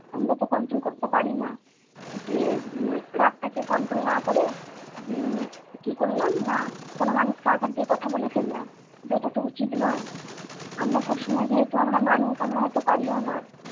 আমরা তো control করতে পারিনা, যে উম রাগটাকে control না করে উম কি করলাম না কোন মানুষকে আঘাত দিয়ে কথা বলে ফেললাম, কিন্তু ইটা তো উচিত নয়। আমরা সবসময় যেহেতু আমরা মানুষ, আমরা হয়তো পারিও না।